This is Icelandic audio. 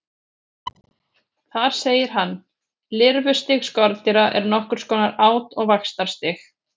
Þar segir hann: Lirfustig skordýra er nokkurs konar át- og vaxtarstig.